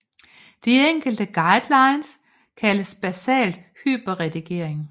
De enkle guidelines kaldes basal hyperredigering